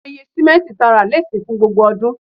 Awọn iye ti simenti ra le sin fun gbogbo odun